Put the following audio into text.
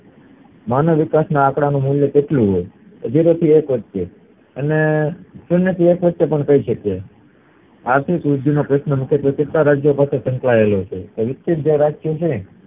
માનવ વિકાસ ના અકળાનું મૂળ કેટલું હોય તો zero થી એક વચ્ચે તેથી શૂન્ય થી એક વચ્ચે પણ કહી શકીયે આર્થિક વૃદ્ધિ નો પ્રશ્ન કેટલા રાજ્ય પાસે સંકળાયેલો છે